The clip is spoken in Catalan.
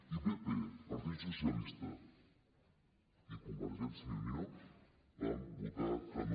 i pp partit socialista i convergència i unió van votar que no